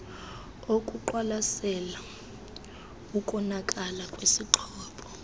okuqwalasela ukonakala kwesixhobo